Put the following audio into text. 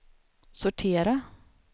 sortera